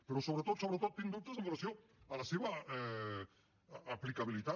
però sobretot sobretot tinc dubtes amb relació a la seva aplicabilitat